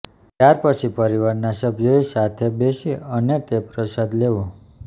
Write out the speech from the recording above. ત્યારપછી પરીવારના સભ્યોએ સાથે બેસી અને તે પ્રસાદ લેવો